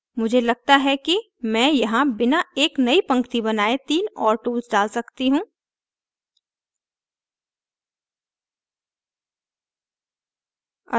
मुझे लगता है कि मैं यहाँ बिना एक नई पंक्ति बनाये 3 और tools डाल सकती row